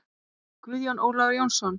Guðjón Ólafur Jónsson